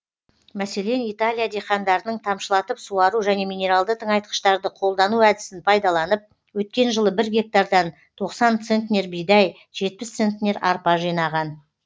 мәселен италия диқандарының тамшылатып суару және минералды тыңайтқыштарды қолдану әдісін пайдаланып өткен жылы бір гектардан тоқсан центнер бидай жетпіс центнер арпа жинаған